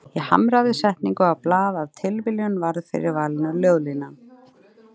Ég hamraði setningu á blað, af tilviljun varð fyrir valinu ljóðlínan